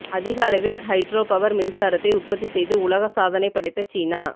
அதிக அளவில் hydro power மின்சாரத்தை உற்பத்தி செய்து உலக சாதனை படைத்த சீனா